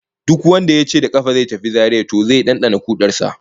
Duk wanda yace da kafa zai tafi Zaria to zai dandana kudar sa